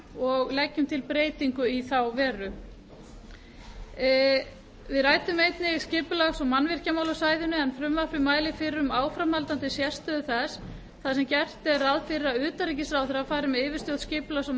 og leggur til breytingu í þá veru á fundum sínum ræddi nefndin skipulags og mannvirkjamál á svæðinu en frumvarpið mælir fyrir um áframhaldandi sérstöðu þess þar sem gert er ráð fyrir að utanríkisráðherra fari með yfirstjórn skipulags og